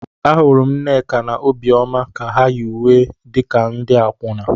Ahụrụ m Nneka na Obioma ka ha yi uwe wee dị ka ndị akwụna.